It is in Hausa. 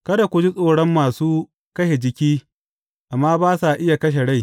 Kada ku ji tsoron masu kashe jiki amma ba sa iya kashe rai.